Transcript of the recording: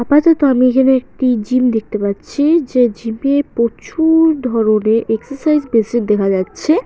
আপাতত আমি এখানে একটি জিম দেখতে পাচ্ছি-ই যে জিম -এ প্রচু-উ-র ধরনের এক্সারসাইজ মেশিন দেখা যাচ্ছে।